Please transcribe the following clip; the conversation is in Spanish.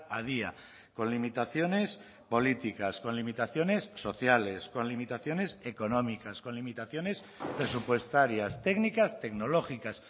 a día con limitaciones políticas con limitaciones sociales con limitaciones económicas con limitaciones presupuestarias técnicas tecnológicas